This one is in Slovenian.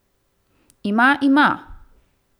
Ima, ima.